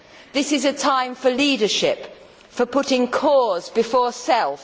This is a time for leadership, for putting cause before self.